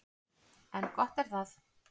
En gott er það.